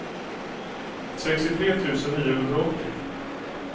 sextiotre tusen niohundraåttio